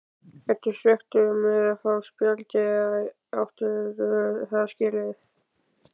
Ertu svekktur með að fá spjaldið eða áttirðu það skilið?